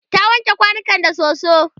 ta wanke kwanukan da soso